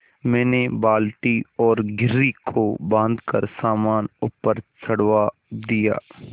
मैंने बाल्टी और घिर्री को बाँधकर सामान ऊपर चढ़वा दिया